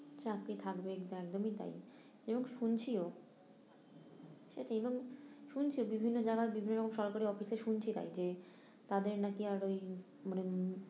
চাকরি থাকবে এটা একদমই তাই, এবং শুনছিও সেটাই এবং শুনছি বিভিন্ন জায়গায় বিভিন্ন সরকারি office এ শুনছি তাই যে তাদের নাকি আর ওই মানে